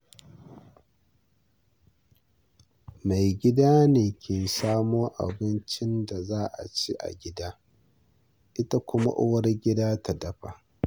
Mai gida ne ke samo abincin da za aci a gida, ita kuma uwargida ya dafa.